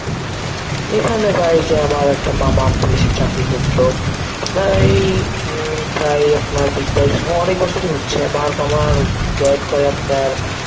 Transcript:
এখানে ভাই এই যে আমার একটা মামা পুলিশে চাকরি করতো, আপনারা এই উম প্রায় আপনার বিশ বাইশ অনেক বছরই হচ্ছে. আমার মামা join করে আপনার